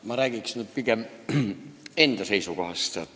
Ma räägiks pigem enda seisukohast.